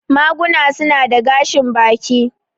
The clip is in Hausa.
Maguna su na da gashin baki.